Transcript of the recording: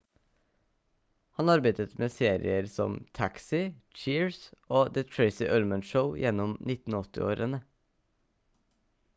han arbeidet med serier som taxi cheers og the tracy ullman show gjennom 1980-årene